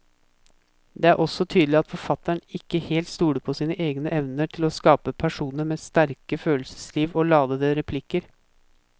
Det er også tydelig at forfatteren ikke helt stoler på sine egne evner til å skape personer med sterke følelsesliv og ladete replikker.